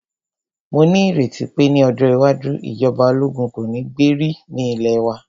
Mó ní ìrètí pé ní ọjọ́ iwájú, ìjọba ológun kò ní gbé rí ní ilẹ̀ wa.